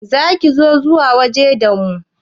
Za ki so zuwa waje da mu?